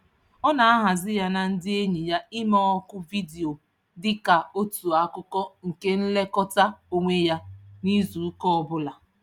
Ọ na-ahazi ya na ndị enyi ya ime oku vidiyo dị ka otu akụkụ nke nlekọta onwe ya n'izuụka ọbụla.